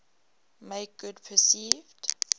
make good perceived